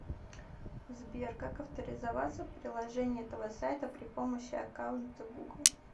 сбер как авторизоваться в приложении этого сайта при помощи аккаунта гугл